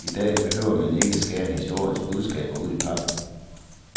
I dag behøver man ikke skære en histories budskaber ud i pap.